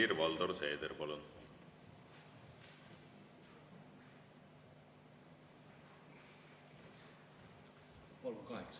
Helir-Valdor Seeder, palun!